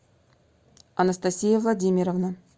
анастасия владимировна